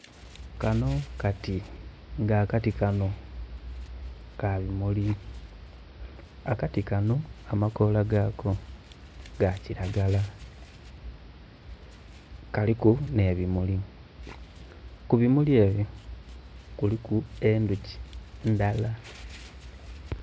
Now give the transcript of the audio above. Kanho kati nga akati kanho, ka bimuli akati kano, amakoola gaako ga kiragala kaliku ne bimuli ku bimuli ebyo kuliku endhoki ndhala.